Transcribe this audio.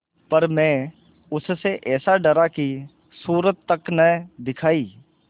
पर मैं उससे ऐसा डरा कि सूरत तक न दिखायी